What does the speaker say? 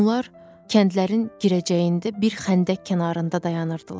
Onlar kəndlərin girəcəyində bir xəndək kənarında dayanırdılar.